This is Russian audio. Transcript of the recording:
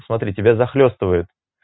смотри тебя захлёстывают